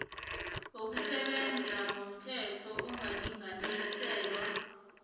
wokusebenza ngomthetho angalinganiselwa